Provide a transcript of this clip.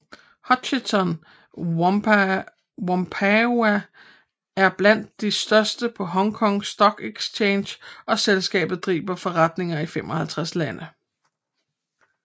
Hutchison Whampoa er blandt de største på Hong Kong Stock Exchange og selskabet driver forretninger i 55 lande